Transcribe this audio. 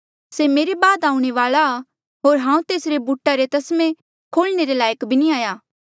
से मेरे बाद आऊणें वाल्आ आ होर हांऊँ तेसरे बूटा रे तस्मे खोलणे रे लायक बी नी हाया